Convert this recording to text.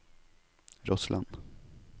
Rossland